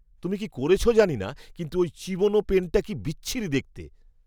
তুমি কি করেছ জানি না, কিন্তু ওই চিবনো পেনটা কি বিচ্ছিরি দেখতে।